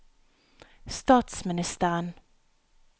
statsministeren